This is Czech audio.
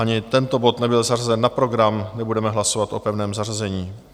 Ani tento bod nebyl zařazen na program, nebudeme hlasovat o pevném zařazení.